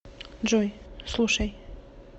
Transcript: джой слушай